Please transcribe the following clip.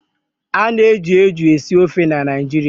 Ana eji eju esi ofe na Naịjirịa